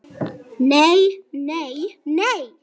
Nei, nei, nei!